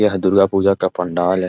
यह दुर्गा पूजा का पंडाल है ।